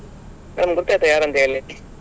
Madam ಗುರ್ತ ಆಯ್ತಾ ಯಾರಂತ ಹೇಳಿ?